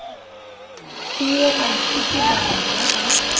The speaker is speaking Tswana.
puo baithuti bangwe ba ba